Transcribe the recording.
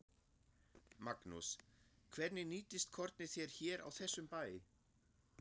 Magnús: Hvernig nýtist kornið þér hér á þessum bæ?